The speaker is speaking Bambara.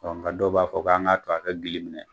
nka dɔw b'a fɔ k'an ka to a ka gili minɛ.